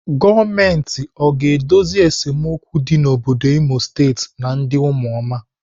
Gọọmenti ọ ga-edozi esemokwu dị n'obodo Imo State na ndị ụmụoma?